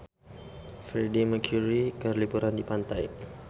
Freedie Mercury keur liburan di pantai